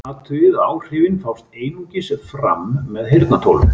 Athugið að áhrifin fást einungis fram með heyrnartólum.